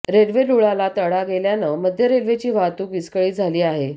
railway रुळाला तडा गेल्यानं मध्य रेल्वेची वाहतूक विस्कळीत झाली आहे